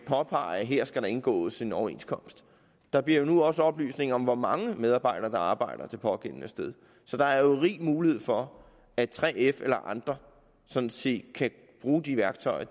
påpege at her skal der indgås en overenskomst der bliver nu også oplysninger om hvor mange medarbejdere der arbejder det pågældende sted så der er jo rig mulighed for at 3f eller andre sådan set kan bruge de værktøjer